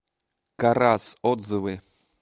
карас отзывы